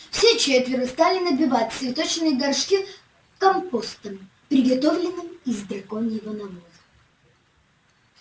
все четверо стали набивать цветочные горшки компостом приготовленным из драконьего навоза